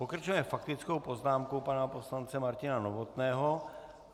Pokračujeme faktickou poznámkou pana poslance Martina Novotného.